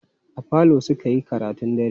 A falo suka yi karatun dare.